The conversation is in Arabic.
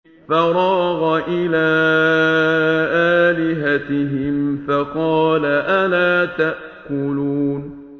فَرَاغَ إِلَىٰ آلِهَتِهِمْ فَقَالَ أَلَا تَأْكُلُونَ